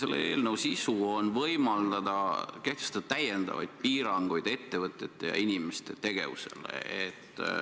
Selle eelnõu sisu on võimaldada kehtestada lisapiiranguid ettevõtete ja inimeste tegevusele.